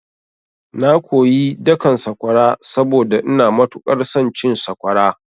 Na koyi dakan sakwara saboda ina matuƙar son cin sakwara.